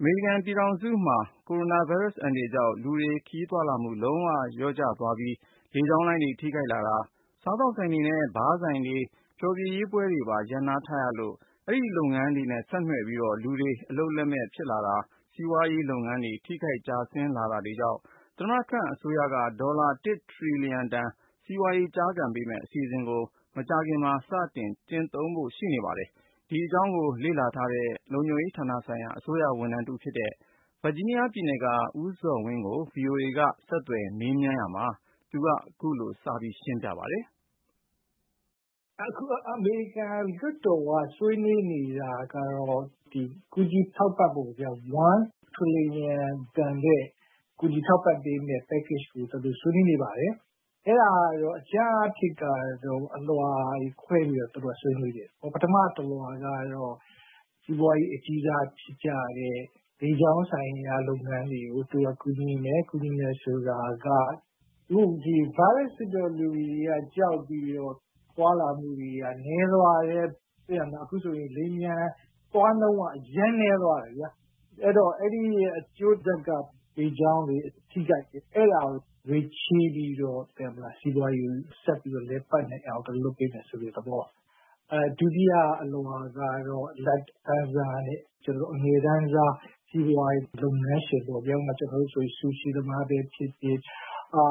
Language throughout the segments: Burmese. အမေရိကန်ပြည်ထောင်စုမှာ ကိုရိုနာဗိုင်းရပ်စ် အန္တရာယ်ကြောင့် လူတွေ ခရီးသွားလာမှု လုံးဝလျော့ကျသွားပြီး လေကြောင်းလိုင်းတွေ ထိခိုက်လာတာ၊ စားသောက်ဆိုင်တွေနဲ့ ဘားဆိုင်တွေ ဖျော်ဖြေရေးပွဲတွေပါ ရပ်နားထားရလို့ ဒီလုပ်ငန်းတွေနဲ့ ဆက်နွှယ်ပြီး လူတွေ အလုပ်လက်မဲ့ဖြစ်လာတာ၊ စီးပွားရေး ထိခိုက်ကျဆင်းလာတာတွေကြောင့် သမ္မတ Trump အစိုးရက ဒေါ်လာ ၁ ထရီလျံတန် စီးပွားရေး ကျားကန်ပေးမယ့် အစီအစဉ်ကို မကြာခင်မှာ စတင်ကျင့်သုံးဖို့ ရှိနေပါတယ်။ ဒီအကြောင်းကို လေ့လာထားတဲ့ လုံခြုံရေးဌာနဆိုင်ရာ အစိုးရဝန်ထမ်းတဦးဖြစ်တဲ့ ဗာဂျီးနီးယားပြည်နယ်က ဦးဇော်ဝင်းကို ဗွီအိုအေ ကိုဉာဏ်ဝင်းအောင်က ဆက်သွယ်မေးမြန်းရာမှာ သူက အခုလို စတင်ရှင်းပြပါတယ်။ “အခု အမေရိကန်လွှတ်တော်က ဆွေးနွေးနေတာကတော့ ကူညီထောက်ပံ့ဖို့ပေါ့၊ ၁ ထရီလျံတန်တဲ့ ကူညီထောက်ပံ့ပေးမယ့် Package ကို သူတို့ ဆွေးနွေးနေပါတယ်။ အဲဒါက အကြမ်းအားဖြင့် အလွှာတွေခွဲပြီးတော့ သူတို့ ဆွေးနွေးတယ်။ ပထမတလွှာကတော့ စီးပွားရေး အကြီးစားဖြစ်ကြတဲ့ လေကြောင်းဆိုင်ရာ လုပ်ငန်းတွေကို ကူညီမယ်။ ကူညီမယ်ဆိုတာက အခုဗိုင်းရပ်စ်ဖြစ်တော့ လူတွေက ကြောက်ပြီးတော့ သွားလာမှု နည်းသွားတာ အခုဆို လေယာဉ်ပျံသွားနှုန်းက အရမ်းနည်းသွားတယ်။ အဲဒီရဲ့ အကျိုးဆက်က လေကြောင်းတွေ ထိခိုက်တယ်။ အဲဒါကို ငွေချေးပြီးတော့ စီးပွားရေး ဆက်လည်ပတ်နိုင်အောင် လုပ်ပေးမယ်ဆိုတဲ့ သဘော။ “ဒုတိယအလွှာကတော့ အလတ်တန်းစားနဲ့ အငယ်တန်းစား စီးပွားရေးလုပ်ငန်းရှင်ပေါ့၊ ဆူရှီသမားပဲဖြစ်ဖြစ်၊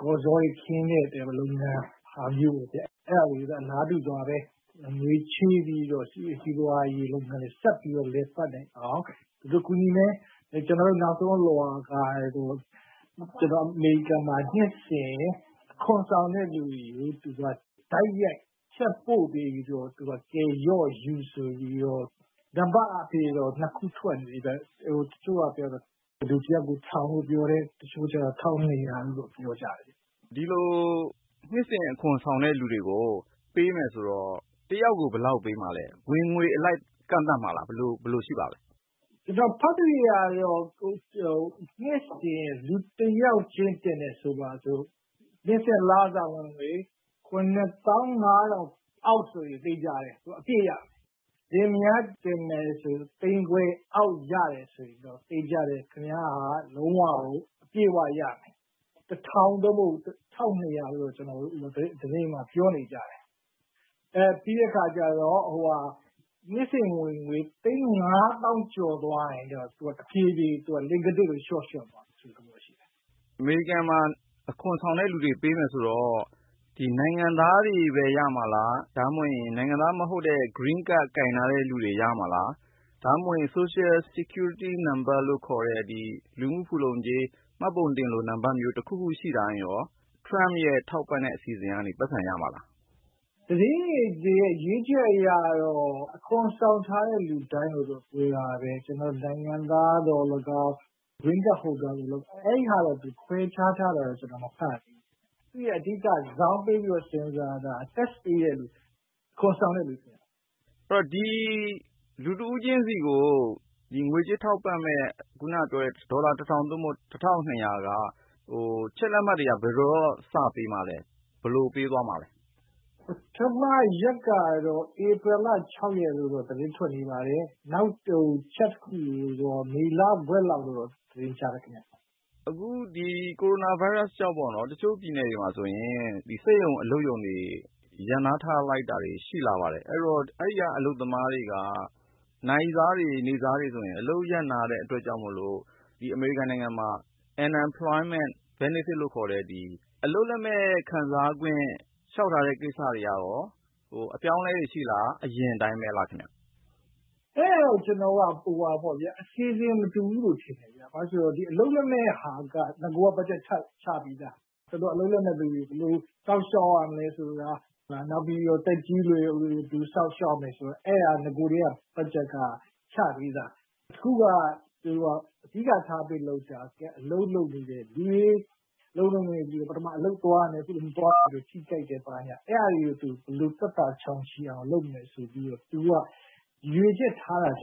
ကောဇောခင်းတဲ့လုပ်ငန်းလိုဟာမျိုး၊ အဲဒါမျိုးတွေကို သူက ငွေချေးပြီးတော့ စီးပွားရေးလုပ်ငန်းတွေ ဆက်ပြီးလည်ပတ်နိုင်အောင် သူတို့ကူညီမယ်။ နောက်ဆုံးအလွှာကတော့ အမေရိကန်မှာ နှစ်စဉ် အခွန်ဆောင်တဲ့လူတွေကို တိုက်ရိုက် Check ပို့ပေးပြီးတော့ ရော့ယူဆိုပြီးတော့၊ နံပါတ်အားဖြင့်တော့ နှစ်ခုထွက်နေတယ်၊ တချို့ကပြောတော့ လူတယောက်ကို တထောင်လို့ပြောတယ်၊ တချို့ကတော့ တထောင့်နှစ်ရာလို့ ပြောကြတယ်။” ဒီလို နှစ်စဉ် အခွန်ဆောင်တဲ့လူတွေကို ပေးမယ်ဆိုတော့ တယောက်ကို ဘယ်လောက်ပေးမှာလဲ၊ ဝင်ငွေအလိုက် ကန့်သတ်မှာလား ဘယ်လိုရှိပါသလဲ။ “ကျနော် ဖတ်သရွေ့ကတော့ နှစ်စဉ် လူတယောက်ချင်း တင်တယ်ဆိုပါဆို့၊ နှစ်စဉ် လစာဝင်ငွေ ၇၅၀၀၀ အောက်ဆိုရင် သေချာတယ် အပြည့်ရမယ်။ လင်မယားတင်တယ်ဆိုရင် တသိန်းခွဲအောက် ရတယ်ဆိုရင်တော့ သေချာတယ် လုံးဝ အပြည့်အဝရမယ်။ တထောင် သို့မဟုတ် တထောင့်နှစ်ရာလို့တော့ သတင်းမှာ ပြောနေကြတယ်။ ပြီးတော့ နှစ်စဉ်ဝင်ငွေ တသိန်းငါးသောင်း ကျော်သွားရင်တော့ တဖြည်းဖြည်း လှေခါးထစ်လို လျှော့သွားမယ်ဆိုတဲ့သဘော ရှိတယ်။” အမေရိကန်မှာ အခွန်ဆောင်တဲ့သူတွေကို ပေးမယ်ဆိုတော့ ဒီနိုင်ငံသားတွေပဲ ရမှာလား၊ ဒါမှမဟုတ်ရင် နိုင်ငံသားမဟုတ်တဲ့ Green Card ကိုင်ထားသူတွေ ပဲ ရမှာလား၊ ဒါမှမဟုတ် Social Security Number ခေါ်တဲ့ မှတ်ပုံတင်လို နံပါတ်မျိုး တခုခုရှိထားရင်ရော သမ္မတ Trump ရဲ့ ထောက်ပံ့တဲ့ အစီအစဉ်ကနေ ပိုက်ဆံရမှာလား။ “သတင်းတွေရဲ့ ရေးချက်အရတော့ အခွန်ဆောင်ထားတဲ့ လူတိုင်းလို့တော့ ဆိုတာပဲ။ နိုင်ငံသားသော်လည်းကောင်း၊ Green Card Holder သော်လည်းကောင်း အဲဒါတွေ ခွဲခြားထားတာတော့ ကျနော် မဖတ်ရသေးဘူး။ သူ့ရဲ့ အဓိက ဇောင်းပေးပြီး စဉ်းစားတာ Tax ပေးတဲ့သူ၊ အခွန်ဆောင်တဲ့လူကိုပြောတာ။” အဲဒီတော့ လူတဦးချင်းစီကို ငွေကြေးထောက်ပံ့မယ့် ဒီ ဒေါ်လာ ၁,၀၀၀ သို့မဟုတ် ၁,၂၀၀ က Check လက်မှတ်တွေက ဘယ်တော့စပေးမှာလဲ၊ ဘယ်လိုပေးသွားမှာပါလဲ။ “ပထမရက်ကတော့ ဧပြီလ ၆ ရက်လို့တော့ သတင်းထွက်နေပါတယ်။ နောက် Check တခုကိုတော့ မေလဝက်လောက်လို့တော့ သတင်းကြားတယ်။” ကိုရိုနာဗိုင်းရပ်စ်ကြောင့်ပေါ့နော်၊ တချို့ပြည်နယ်တွေမှာဆိုရင် စက်ရုံအလုပ်ရုံတွေ ရပ်နားထားလိုက်တာ ရှိလာပါတယ်။ အလုပ်ရပ်နားလိုက်တဲ့ အတွက်ကြောင့်မို့ အဲဒီက နာရီစား နေ့စား အလုပ်သမားတွေက ဒီ အမေရိကန်နိုင်ငံမှာ Unemployment Benefit လို့ခေါ်တဲ့ အလုပ်လက်မဲ့ခံစားခွင့် လျှောက်ထားတဲ့ ကိစ္စတွေကရော အပြောင်းအလဲ ရှိလာနိုင်သလား၊ အရင်အတိုင်းပဲလားခင်ဗျ။ “အဲဒါတော့ အစီအစဉ် မတူဘူးလို့ထင်တယ်။ ဘာဖြစ်လို့လဲဆိုတော့ အလုပ်လက်မဲ့ဟာက နဂိုက ဘတ်ဂျက်ချပြီးသား။ အလုပ်လက်မဲ့လူတွေ ဘယ်လို စောင့်ရှောက်ရမလဲဆိုတာ၊ နောက် သက်ကြီးရွယ်အိုတွေ ဘယ်လိုစောင့်ရှောက်ရမယ်ဆိုတာ အဲဒါ နဂိုကတည်းက ဘတ်ဂျက်က ချပြီးသား။ အခုက အဓိကထားပြီးလုပ်တာ အလုပ်လုပ်နေတဲ့လူတွေ။ ပထမ အလုပ်သွားရမယ်၊ အခုလို မသွားရတော့ ထိခိုက်တယ် ဘာညာ အဲဒါတွေကို သက်သာချောင်ချိအောင် လုပ်မယ်ဆိုပြီးတော့ သူက ရည်ရွယ်ချက်ထားတာခြင်